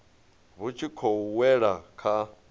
vhu tshi khou wela kha